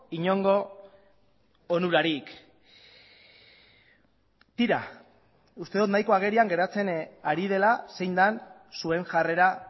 inongo onurarik tira uste dut nahiko agerian geratzen ari dela zein den zuen jarrera